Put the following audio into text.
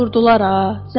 Ay vurdular ha.